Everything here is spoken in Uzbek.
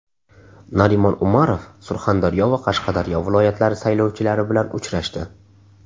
Narimon Umarov Surxondaryo va Qashqadaryo viloyatlari saylovchilari bilan uchrashdi.